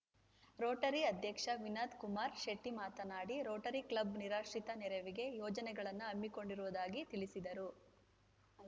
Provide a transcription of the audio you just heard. Rotary ಅಧ್ಯಕ್ಷ Vinodkumar ಶೆಟ್ಟಿಮಾತನಾಡಿ Rotary Club ನಿರಾಶ್ರಿತರ ನೆರವಿಗೆ ಯೋಜನೆಗಳನ್ನು ಹಮ್ಮಿಕೊಂಡಿರುವುದಾಗಿ ತಿಳಿಸಿದರು